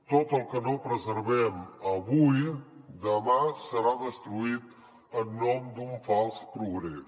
tot el que no preservem avui demà serà destruït en nom d’un fals progrés